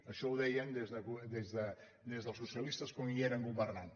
això ho deien des dels socialistes quan hi eren governant